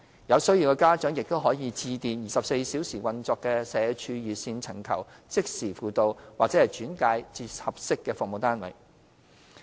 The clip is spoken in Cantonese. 有需要的家長亦可致電24小時運作的社署熱線尋求即時輔導或轉介至合適的服務單位。